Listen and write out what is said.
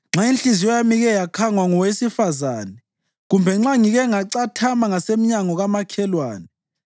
Nxa inhliziyo yami ike yakhangwa ngowesifazane, kumbe nxa ngike ngacathama ngasemnyango kamakhelwane,